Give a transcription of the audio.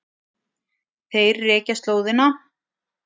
Þeir rekja slóðina.